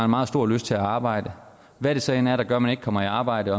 meget stor lyst til at arbejde hvad det så end er der gør at man ikke kommer i arbejde